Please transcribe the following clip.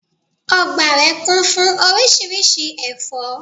Ọgbà rẹ̀ kún fún oríṣiríṣi ẹ̀fọ́